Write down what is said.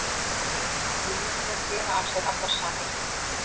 Mennirnir bera af sér allar sakir